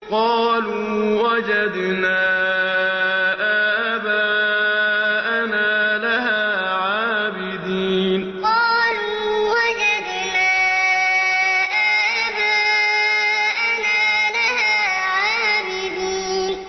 قَالُوا وَجَدْنَا آبَاءَنَا لَهَا عَابِدِينَ قَالُوا وَجَدْنَا آبَاءَنَا لَهَا عَابِدِينَ